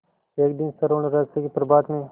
एक दिन स्वर्णरहस्य के प्रभात में